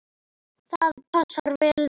Það passar vel við Ísland.